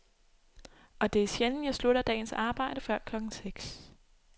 Og det er sjældent, jeg slutter dagens arbejde før klokken seks.